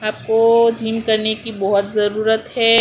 आपको जिम करने की बहोत जरूरत है।